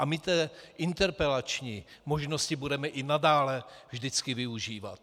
A my tedy interpelační možnosti budeme i nadále vždycky využívat.